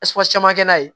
caman kɛ n'a ye